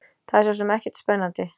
Það er sosum ekkert spennandi.